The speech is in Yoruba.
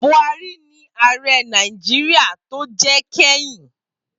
Buhari ni ààrẹ Nàìjíríà tó jẹ kẹ́yìn.